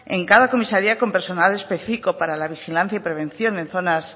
en cada comisaría con personal específico para la vigilancia y prevención en zonas